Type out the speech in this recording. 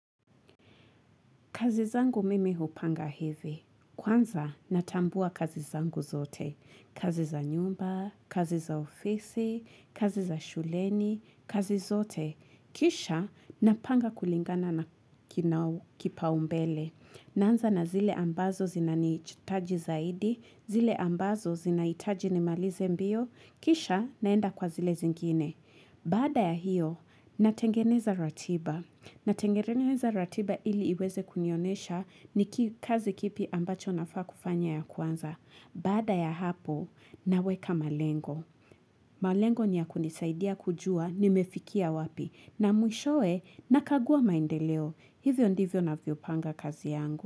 Kazizangu mimi hupanga hivi. Kwanza natambua kazizangu zote. Kaziza nyumba, kaziza ofisi, kaziza shuleni, kazizote. Kisha napanga kulingana na kinau kipa umbele. Nanza na zile ambazo zina ni chutaji zaidi, zile ambazo zinaitaji nimalize mbio, kisha naenda kwa zile zingine. Bada ya hiyo, natengeneza ratiba. Natengeneza ratiba ili iweze kunionesha ni kazi kipi ambacho nafaa kufanya ya kwanza. Bada ya hapo, naweka malengo. Malengo niya kunisaidia kujua, nimefikia wapi. Na mwishoe, nakagua maendeleo. Hivyo ndivyo na vyopanga kazi yangu.